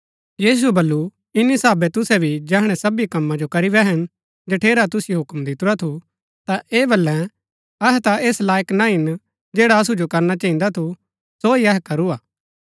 यीशुऐ बल्लू इन्‍नी साहभे तुसै भी जैहणै सबी कम्मा जो करी बैहन जठेरा तुसिओ हुक्म दितुरा थू ता ऐह बल्लै अहै ता ऐस लायक ना हिन जैडा असु जो करना चहिन्दा थू सो ही अहै करू हा